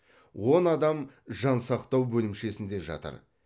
он адам жансақтау бөлімшесінде жатыр